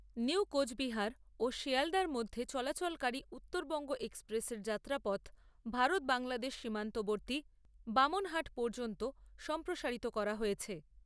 New Coochbehar ও শিয়ালদার মধ্যে চলাচলকারী উত্তরবঙ্গ এক্সপ্রেসের যাত্রাপথ, ভারত বাংলাদেশ সীমান্তবর্তী বামনহাট পর্যন্ত সম্প্রসারিত করা হয়েছে।